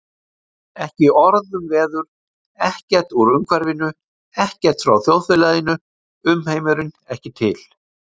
Ekki orð um veður, ekkert úr umhverfinu, ekkert frá þjóðfélaginu, umheimurinn ekki til.